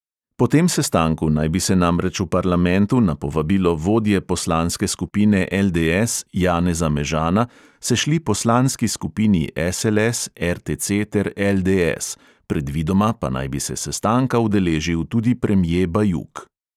Po tem sestanku naj bi se namreč v parlamentu na povabilo vodje poslanske skupine LDS janeza mežana sešli poslanski skupini SLS, RTC ter LDS, predvidoma pa naj bi se sestanka udeležil tudi premje bajuk.